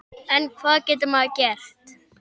En hvað getur maður gert?